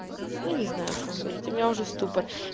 я не знаю что ему говорить у меня уже ступор